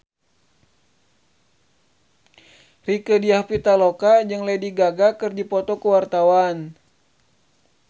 Rieke Diah Pitaloka jeung Lady Gaga keur dipoto ku wartawan